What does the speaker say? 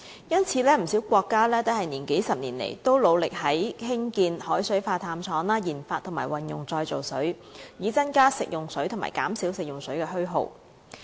因此，不少國家在數十年來，一直努力興建海水化淡廠、研發及運用再造水，以增加食用水及減少食用水的虛耗。